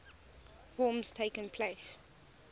forms takes place